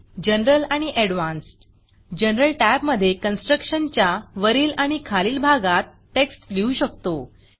Generalजनरल आणि Advancedअडवांसड जनरल Tabजनरल टॅब मधे constructionकन्स्ट्रक्टशन च्या वरील आणि खालील भागात टेक्स्ट लिहू शकतो